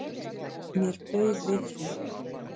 Mér bauð við því.